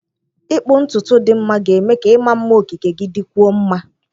Ịkpụ ntutu dị mma ga-eme ka ịma mma okike gị dịkwuo mma.